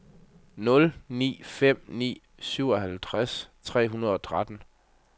nul ni fem ni syvoghalvtreds tre hundrede og tretten